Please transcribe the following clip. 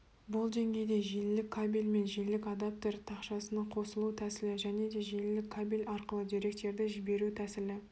бұл деңгейде желілік кабель мен желілік адаптер тақшасының қосылу тәсілі және де желілік кабель арқылы деректерді жіберу тәсілі